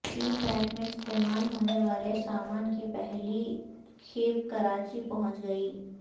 سی pack میں استعمال ہونے والے سامان کی پہلی کھیپ کراچی پہنچ گئی